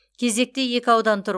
кезекте екі аудан тұр